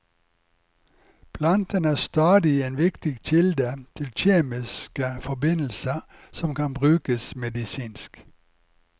Plantene er stadig en viktig kilde til kjemiske forbindelser som kan brukes medisinsk.